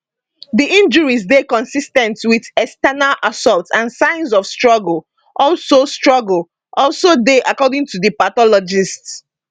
di injuries dey consis ten t wit external assault and signs of struggle also struggle also dey according to di pathologists